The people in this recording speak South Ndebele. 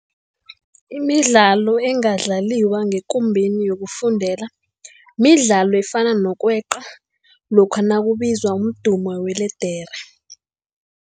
Imidlalo engadlaliwa ngekumbeni yokufundela midlalo efana nokweqa lokha nakubizwa umdumo weledere.